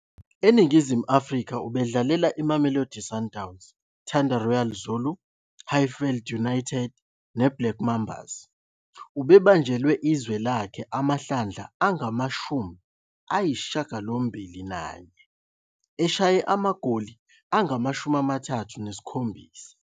ENingizimu Afrika ubedlalela iMamelodi Sundowns, Thanda Royal Zulu, Highfield United neBlack Mambas. Ubebanjelwe izwe lakhe amahlandla angama-81, eshaya amagoli angama-37.